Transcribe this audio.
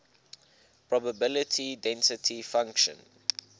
probability density function